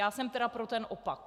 Já jsem tedy pro ten opak.